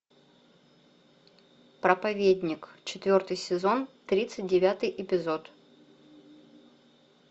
проповедник четвертый сезон тридцать девятый эпизод